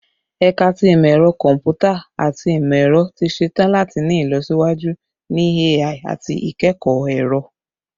Ẹka ti Imọ-ẹrọ Kọmputa ati Imọ-ẹrọ ti ṣetan lati ni ilọsiwaju ni AI ati ikẹkọ ẹrọ